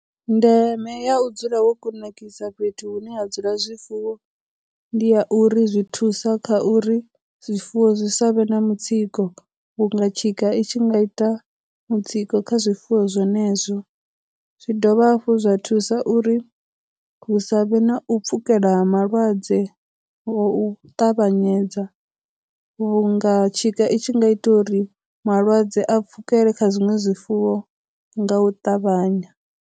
Ndeme ya u dzula wo kunakisa fhethu hune ha dzula zwifuwo ndi ya uri zwi thusa kha uri zwifuwo zwi sa vhe na mutsiko vhu nga tshika i tshi nga ita mutsiko kha zwifuwo zwenezwo, zwi dovha hafhu zwa thusa uri hu sa vhe na u pfhukela ha malwadze ngo u ṱavhanyedza vhunga tshika i tshi nga ita uri malwadze a pfhukela kha zwiṅwe zwifuwo nga u ṱavhanya.